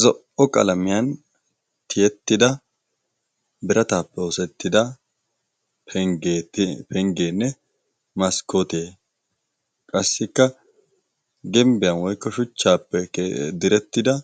zo77o qalamiyan tiyettida birataappe osettida penggeenne maskkotee qassikka gimbbiyan woikko shuchchaappe direttida